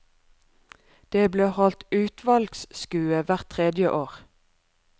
Det ble holdt utvalgsskue hvert tredje år.